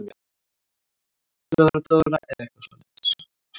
Dóra-Dóra eða eitthvað svoleiðis.